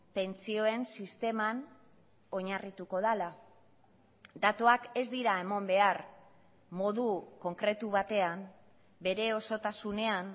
pentsioen sisteman oinarrituko dela datuak ez dira eman behar modu konkretu batean bere osotasunean